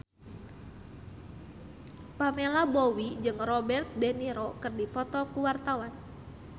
Pamela Bowie jeung Robert de Niro keur dipoto ku wartawan